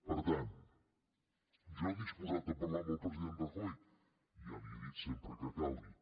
per tant jo disposat a parlar amb el president rajoy ja li ho he dit sempre que calgui